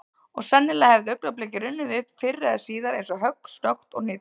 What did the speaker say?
Og sennilega hefði augnablikið runnið upp fyrr eða síðar eins og högg, snöggt og hnitmiðað.